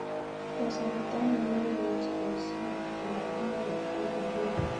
Kasarta ainon ne imuchi ibaisien kibaakenke nebo ng'olyot